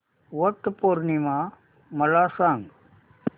वट पौर्णिमा मला सांग